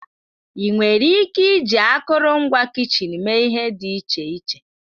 Ị nwere ike iji akụrụngwa kichin mee ihe dị iche iche.